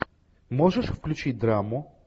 можешь включить драму